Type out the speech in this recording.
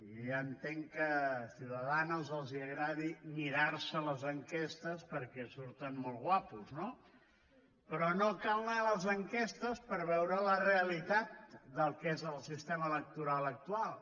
jo ja entenc que a ciudadanos els agradi mirar se les enquestes perquè hi surten molt guapos no però no cal anar a les enquestes per veure la realitat del que és el sistema electoral actual